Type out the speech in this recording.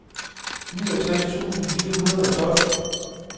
niogtres tusind fire hundrede og tolv